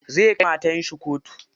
Zai kai matar shi kotu.